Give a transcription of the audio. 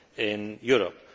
in Europe.